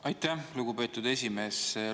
Aitäh, lugupeetud esimees!